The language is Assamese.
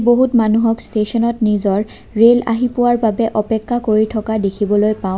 বহুত মানুহক ষ্টেচনত নিজৰ ৰেল আহি পোৱাৰ বাবে অপেক্ষা কৰি থকা দেখিবলৈ পাওঁ।